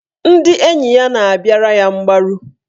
Ndị enyi ya na-abịara ya mgbaru.